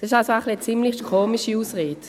Das ist also eine ziemlich komische Ausrede.